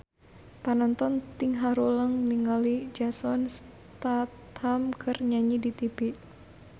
Panonton ting haruleng ningali Jason Statham keur nyanyi di tipi